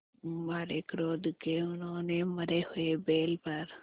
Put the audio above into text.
मारे क्रोध के उन्होंने मरे हुए बैल पर